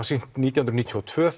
sýnt nítján hundruð níutíu og tvö